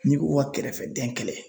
Ni ko ko ka kɛrɛfɛdɛn kɛlɛ